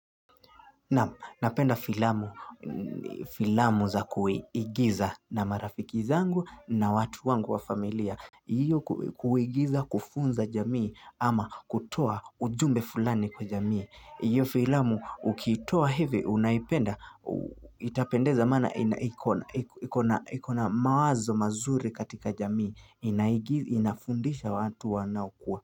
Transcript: Napenda filamu za kuigiza na marafiki zangu na watu wangu wa familia hiyo kuigiza kufunza jamii ama kutoa ujumbe fulani kwa jamii. Hiyo filamu ukiitoa hivi unaipenda itapendeza maana ikona mawazo mazuri katika jamii inafundisha watu wanaokua.